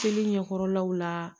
Teli ɲɛkɔrɔlaw la